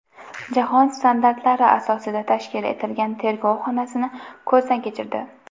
Jahon standartlari asosida tashkil etilgan tergov xonasini ko‘zdan kechirdi.